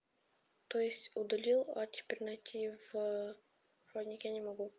то есть удалил а теперь найти в проводнике не могу